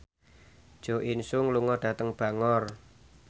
Jo In Sung lunga dhateng Bangor